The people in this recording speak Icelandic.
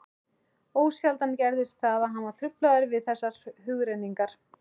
Ósjaldan gerðist það, að hann var truflaður við þessar hugrenningar.